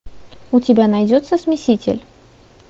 у тебя найдется смеситель